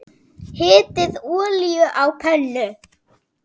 Hitið olíu á pönnu.